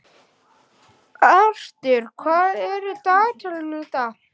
Arthur, hvað er í dagatalinu í dag?